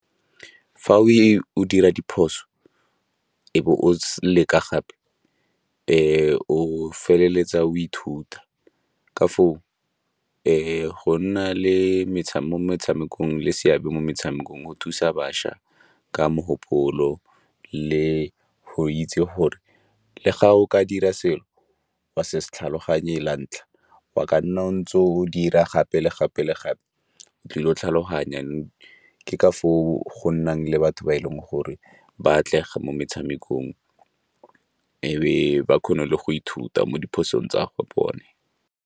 Fa o dira diphoso e be o leka gape, o feleletsa o ithuta ka foo go nna le mo metshamekong le seabe mo metshamekong, o thusa bašwa ka mogopolo le go itse gore le ga o ka dira selo wa se se tlhaloganye la ntlha. Wa ka nna o ntse o dira gape le gape le gape ke utlwile tlhaloganya, ke ka foo go nnang le batho ba e leng gore ba atlega mo metshamekong e be ba kgone le go ithuta mo diphosong tsa go bone.